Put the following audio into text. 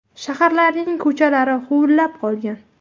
Shaharlarning ko‘chalari huvullab qolgan.